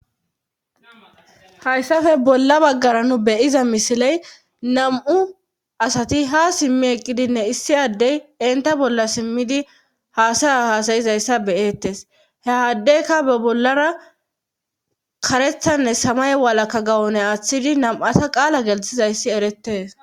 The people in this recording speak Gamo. Hayssafe bolla baggara nu beyiza misiley nam7u asati ha simmi eqqidinne issi addey inta bolla simmidi haasaya hasayizayssa beyettes he haddeyka be bollara karethanne samay walakka gawone aaththidi nam7ata qaala gelthizayssi erettees